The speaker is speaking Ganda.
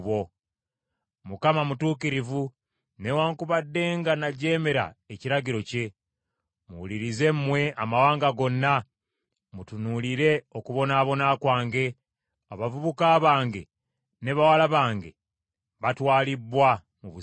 “ Mukama mutuukirivu, newaakubadde nga najeemera ekiragiro kye. Muwulirize mmwe amawanga gonna, mutunuulire okubonaabona kwange; Abavubuka bange ne bawala bange batwalibbwa mu busibe.